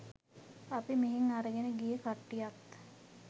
අපි මෙහෙන් අරගෙන ගිය කට්ටියත්